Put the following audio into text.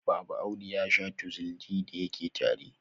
Baba Audu ya shaa Tuxil D da yake tari.